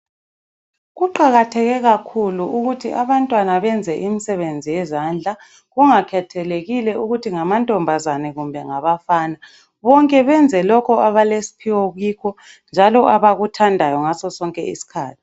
Kuqakatheke kakhulu ukuthi abantwana benze imisebenzi yezandla kungakhethelekile ukuthi ngamantombazane kumbe ngabafana, bonke benze lokho abalesphiwo kikho njalo abakuthandayo ngaso sonke iskhathi